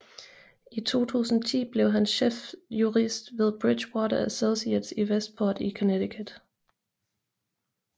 I 2010 blev han chefsjurist ved Bridgewater Associates i Westport i Connecticut